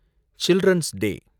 children's டே